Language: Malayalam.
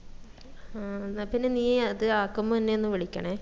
ആ എന്നാ പിന്നാ നീ അത് ആകുമ്പം എന്നഒന്ന് വിളിക്കണേ